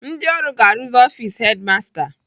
Ndị ọrụ ga-arụzi ọfis hedimasta